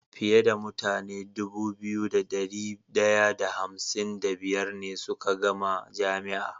Fiye da mutane Dubu biyu da dari daya da hamsin da biyar ne suka gama jami'a